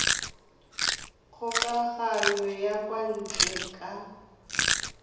kgokagano ya kwa ntle ka